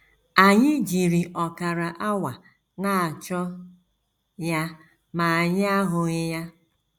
Anyị jiri ọkara awa na - achọ ya ma anyị ahụghị ya.